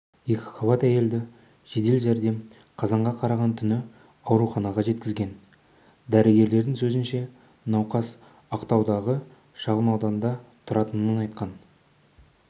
екіқабат әйелді жедел жәрдем қазанға қараған түні ауруханаға жеткізген дәрігерлердің сөзінше науқас ақтаудағы шағынауданда тұратынын айтқан